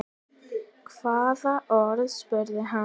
Hvaða orð? spurði hann.